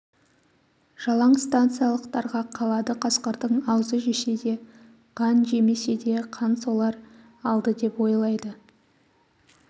жалаң станциялықтарға қалады қасқырдың аузы жесе де қан жемесе де қан солар алды деп ойлайды